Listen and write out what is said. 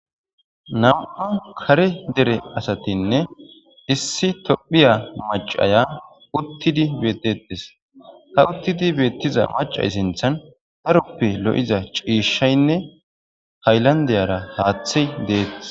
nam7u kare dere asatinne issi tophiya macaya uttidi bettetes ha uttidi beettiza macay sinthan daroppe lo7iza ciishshaynne hayllandeyara haaththe deettes